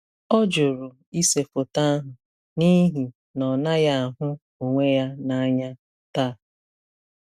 Ọ jụrụ ise foto ahụ n’ihi na ọ naghị ahụ onwe ya n’anya taa.